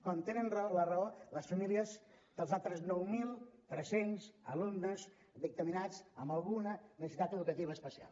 com tenen raó les famílies dels altres nou mil tres cents alumnes dictaminats amb alguna necessitat educativa especial